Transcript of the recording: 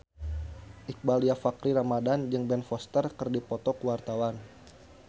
Iqbaal Dhiafakhri Ramadhan jeung Ben Foster keur dipoto ku wartawan